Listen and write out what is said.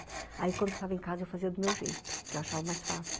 Aí, quando eu estava em casa, eu fazia do meu jeito, que eu achava mais fácil.